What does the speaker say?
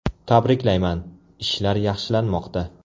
Tabriklayman, ishlar yaxshilanmoqda.